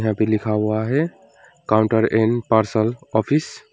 भी लिखा हुआ है काउंटर एंड पार्सल ऑफिस --